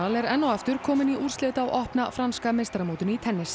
er enn og aftur kominn í úrslit á opna franska meistaramótinu í tennis